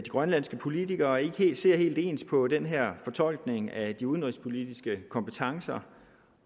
grønlandske politikere ikke ser helt ens på den her fortolkning af de udenrigspolitiske kompetencer